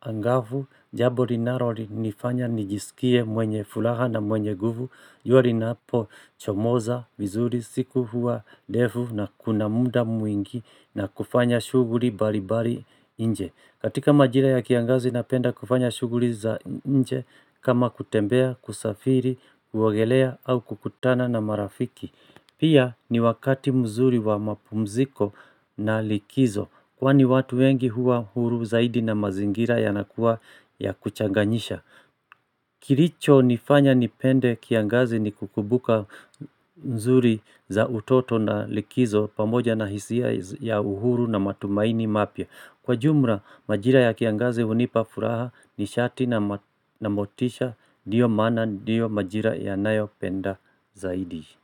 angavu jambo linalo nifanya nijisikie mwenye furaha na mwenye nguvu jua linapo chomoza vizuri siku huwa ndefu na kuna muda mwingi na kufanya shughuli mbali mbali nje. Katika majira ya kiangazi na penda kufanya shughuli za nje kama kutembea, kusafiri, kuogelea au kukutana na marafiki. Pia ni wakati mzuri wa mapumziko na likizo kwani watu wengi huwa huru zaidi na mazingira ya nakuwa ya kuchanganyisha. Kilicho nifanya nipende kiangazi ni kukumbuka nzuri za utoto na likizo pamoja na hisia ya uhuru na matumaini mapya. Kwa jumla majira ya kiangazi hunipa furaha ni shati na motisha ndiyo maana ndiyo majira ya nayopenda zaidi.